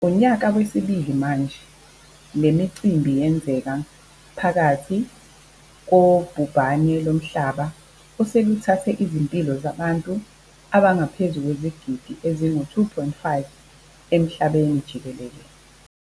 Unyaka wesibili manje, le micimbi yenzeke phakathi kobhubhane lomhlaba oseluthathe izimpilo zabantu abangaphezu kwezigidi ezi-2.5 emhlabeni jikelele.